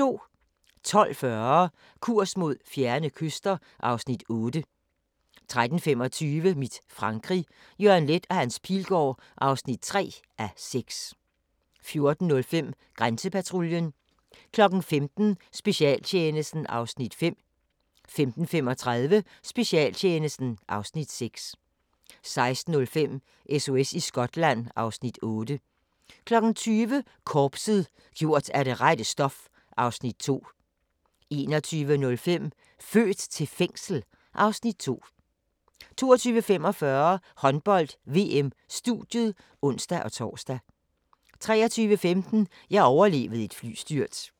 12:40: Kurs mod fjerne kyster (Afs. 8) 13:25: Mit Frankrig – Jørgen Leth & Hans Pilgaard (3:6) 14:05: Grænsepatruljen 15:00: Specialtjenesten (Afs. 5) 15:35: Specialtjenesten (Afs. 6) 16:05: SOS i Skotland (Afs. 8) 20:00: Korpset – gjort af det rette stof (Afs. 2) 21:05: Født til fængsel? (Afs. 2) 22:45: Håndbold: VM - studiet (ons-tor) 23:15: Jeg overlevede et flystyrt